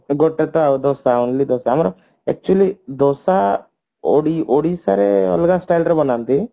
ଗୋଟେ ତ ଆଉ ଦୋସା only ଦୋସା ଆମର actually ଦୋସା ଓଡି ଓଡିଶାରେ ଅଲଗା style ରେ ବନାନ୍ତି